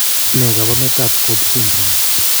Ne kaabarunetap Cobb Syndrome?